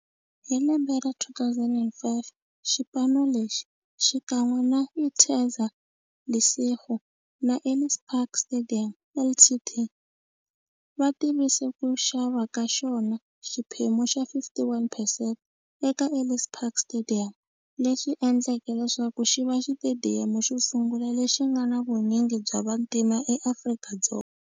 Hi lembe ra 2005, xipano lexi, xikan'we na Interza Lesego na Ellis Park Stadium Ltd, va tivise ku xava ka xona xiphemu xa 51 percent eka Ellis Park Stadium, leswi endleke leswaku xiva xitediyamu xo sungula lexi nga na vunyingi bya vantima eAfrika-Dzonga.